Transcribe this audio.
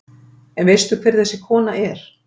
En veistu hver þessi kona er?